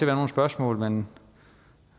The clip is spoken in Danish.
være nogle spørgsmål men